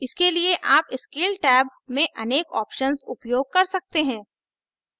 इसके लिए आप scale टैब में अनेक options उपयोग कर सकते हैं